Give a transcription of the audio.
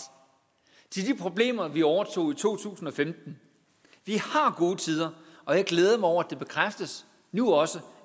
til de problemer vi overtog i to tusind og femten vi har gode tider og jeg glæder mig over at det bekræftes nu også